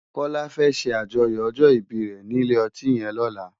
Kola fè ṣé ájòyò òjò ìbí re ni ilé òtín yèn lòlá